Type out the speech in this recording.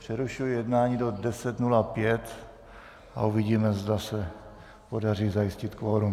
Přerušuji jednání do 10.05 a uvidíme, zda se podaří zajistit kvorum.